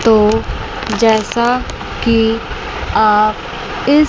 तो जैसा कि आप इस--